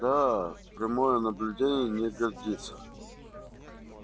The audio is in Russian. да прямое наблюдение не годится